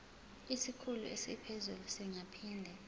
isikhulu esiphezulu singaphinde